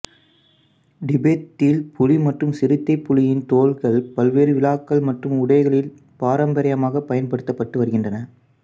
திபெத்தில் புலி மற்றும் சிறுத்தைப்புலியின் தோல்கள் பல்வேறு விழாக்கள் மற்றும் உடைகளில் பாரம்பரியமாகப் பயன்படுத்தப்பட்டு வருகின்றன